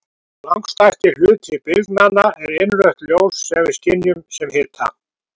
Langstærsti hluti bylgnanna er innrautt ljós sem við skynjum sem hita.